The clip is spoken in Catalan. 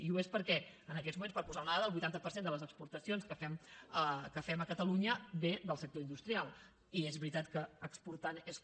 i ho és perquè en aquests moments per posar una dada el vuitanta per cent de les exportacions que fem a catalunya ve del sector industrial i és veritat que exportant és com